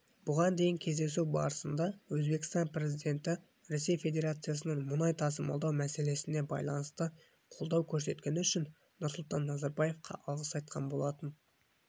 бұған дейін кездесу барысында өзбекстан президенті ресей федерациясынан мұнай тасымалдау мәселесіне байланысты қолдау көрсеткені үшін нұрсұлтан назарбаевқа алғыс айтқан болатын